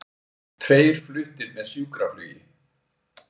Tveir fluttir með sjúkraflugi